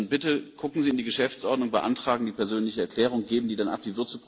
Bitte schauen Sie in die Geschäftsordnung, beantragen Sie die persönliche Erklärung und geben die dann ab.